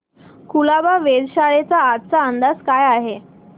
कुलाबा वेधशाळेचा आजचा अंदाज काय आहे